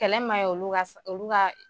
Kɛlɛ ma ɲi olu ka